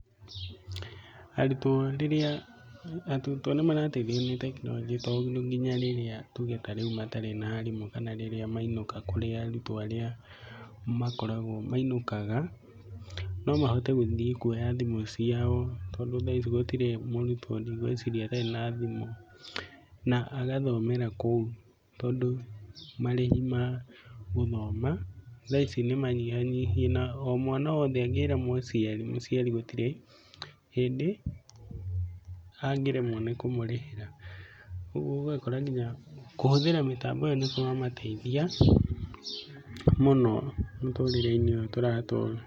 Arutwo rĩrĩa, arutwo nĩ marateithio nĩ tekinoronjĩ tondũ nginya rĩrĩa tuge ta rĩu matarĩ na arimũ, kana rĩrĩa mainũka kũrĩ arutwo arĩa makoragwo mainũkaga, no mahote gũthiĩ kuoya thimũ ciao, tondũ thaa ici gũtirĩ mũrutwo ndigũĩciria atarĩ na thimũ, na agathomera kũu. Tondũ marĩhi ma gũthoma thaa ici nĩ manyihanyihie, na omwana wothe angĩra mũciari, mũciari gũtirĩ hĩndĩ angĩremwo nĩ kũmũrĩhĩra. Ũguo ũgakora nginya kũhũthĩra mĩtambo ĩyo nĩ kũramateithia mũno mũtũrĩre-inĩ ũyũ tũratũra.